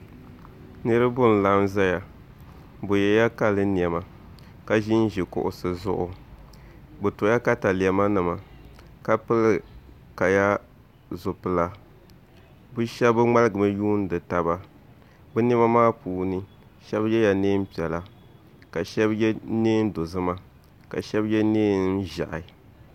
Niraba n laɣam ʒɛya bi yɛla kali niɛma ka ʒinʒi kuɣusi zuɣu bi tola katalɛma nima ka pili kaya zipila bi shab ŋmaligimi yuundi taba bi niɛma maa puuni shab yɛla neen piɛla ka shab yɛ neen dozima ka shab yɛ neen ʒiɛhi